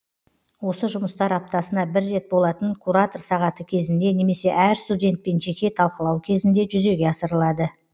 осы жұмыстар аптасына бір рет болатын куратор сағаты кезінде немесе әр студентпен жеке талқылау кезінде жүзеге асырылады